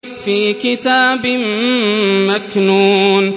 فِي كِتَابٍ مَّكْنُونٍ